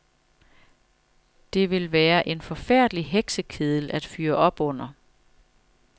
Det ville være en forfærdelig heksekedel at fyre op under.